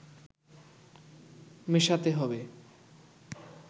মেশাতে হবে